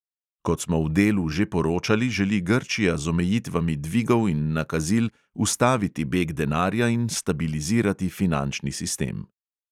Kot smo v delu že poročali, želi grčija z omejitvami dvigov in nakazil ustaviti beg denarja in stabilizirati finančni sistem.